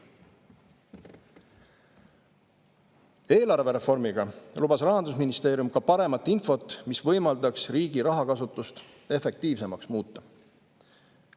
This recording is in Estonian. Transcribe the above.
Eelarvereformiga lubas Rahandusministeerium ka paremat infot, mis võimaldaks riigi rahakasutust efektiivsemaks muuta.